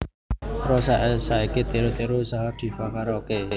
Rosa saiki tiru tiru usaha Diva Karaoke